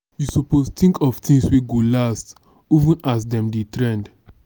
you suppose tink of tins wey go last even as dem dey trend.